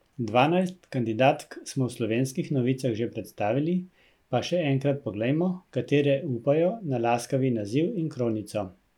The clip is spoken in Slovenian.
Dvanajst kandidatk smo v Slovenskih novicah že predstavili, pa še enkrat poglejmo, katere upajo na laskavi naziv in kronico.